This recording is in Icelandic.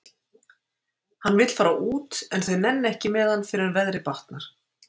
Hann vill fara út en þau nenna ekki með hann fyrr en veðrið batnar.